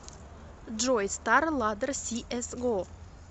джой стар ладдер си эс го